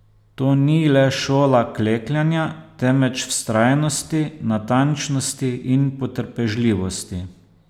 To ni le šola klekljanja, temveč vztrajnosti, natančnosti in potrpežljivosti.